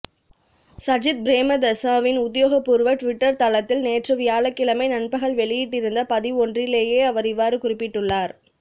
சஜித் பிரேமதாசவின் உத்தியோகப்பூர்வ ருவிட்டர் தளத்தில் நேற்று வியாழக்கிழமை நண்பகல் வெளியிட்டிருந்த பதிவொன்றிலேயே அவர் இவ்வாறு குறிப்பிட்டுள்ளார்